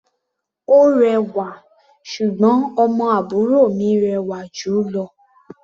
Ó rẹwà, ṣùgbọ́n ọmọ àbúrò mi rẹwà jù ú lọ.